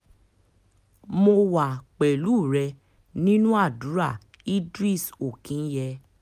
mo wà pẹ̀lú rẹ̀ nínú àdúrà idris okinye